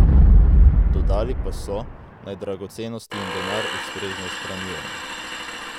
Dodali pa so, naj dragocenosti in denar ustrezno shranjujemo.